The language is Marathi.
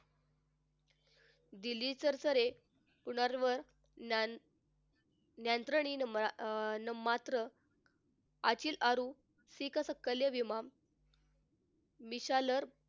यंत्रणेने न मात्र आचिल सुरू मिशाल,